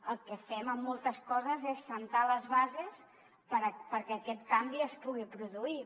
el que fem amb moltes coses és assentar les bases perquè aquest canvi es pugui produir